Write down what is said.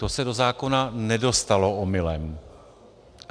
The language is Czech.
To se do zákona nedostalo omylem.